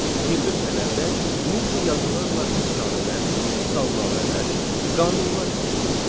Gil lövhələrdə mixi yazılarla əfsanələr, salnamələr, qanunlar əks olunmuşdur.